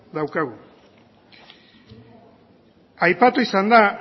daukagu aipatu izan da